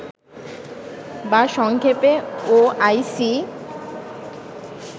বা সংক্ষেপে ওআইসি